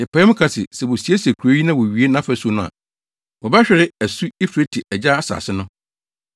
Yɛpae mu ka se, sɛ wosiesie kurow yi na wowie nʼafasu no a, wobɛhwere asu Eufrate agya asase no.